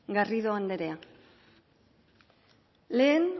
garrido anderea lehen